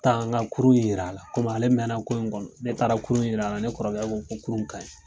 Ne tala n ka kurun in yira a la komi ale mɛnla ko in kɔnɔ ne taara kurun yira a la ne kɔrɔkɛ ko ko kurun in ka ɲi.